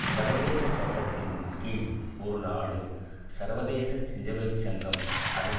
சர்வதேச சட்டத்தின் கீழ் ஒரு நாடு சர்வதேச செஞ்சிலுவை சங்கம் அதன்